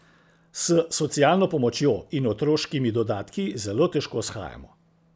S socialno pomočjo in otroškimi dodatki zelo težko shajamo.